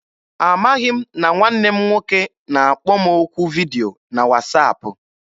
Amaghị m na nwanne m nwoke na-akpọ m okwu vidio na wasaapụ.